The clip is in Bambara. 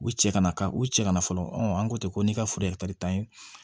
U cɛ kana na ka u cɛ ka na fɔlɔ an ko ten ko ne ka foro yɛrɛ ta ɲin